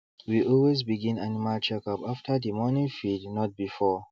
we always begin animal checkup after the morning feed not before